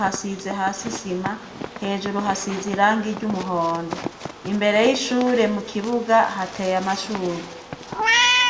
hasi hasize isima, hejuru hasize irangi ry'umuhondo ,imbere y'ishure mukibuga hateye amashurwe.